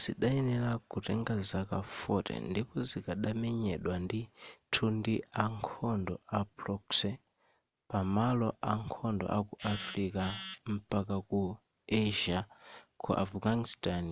zidayenera kutenga zaka 40 ndipo zikadamenyedwa ndithu ndi a khondo a proxy pa malo akhondo aku africa mpaka ku asia ku afghanistan